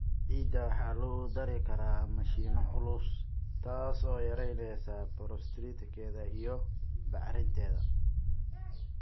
Ciidda waxaa lagu dari karaa mashiinno culus, taas oo yareyneysa porosity-keeda iyo bacrinteeda.